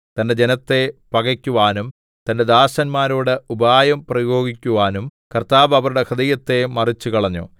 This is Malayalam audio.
തന്റെ ജനത്തെ പകക്കുവാനും തന്റെ ദാസന്മാരോട് ഉപായം പ്രയോഗിക്കുവാനും കർത്താവ് അവരുടെ ഹൃദയത്തെ മറിച്ചുകളഞ്ഞു